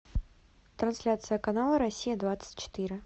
трансляция канала россия двадцать четыре